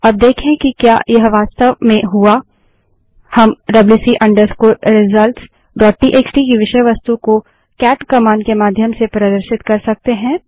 अब देखें कि क्या यह वास्तव में हुआ हम wc results WC result dot TXT की विषय वस्तु को केट कमांड के माध्यम से प्रदर्शित कर सकते हैं